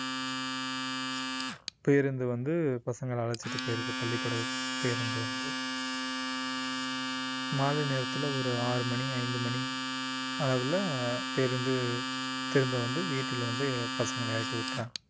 பேருந்து வந்து பசங்களை அழைச்சிட்டு போயிருது பள்ளிக்கூட பேருந்து வந்து மாலை நேரத்துல ஒரு ஆறு மணி ஐந்து மணி அளவுல பேருந்து திரும்ப வந்து வீட்டில் வந்து பசங்களை இறக்கி விட்டர்றாங்க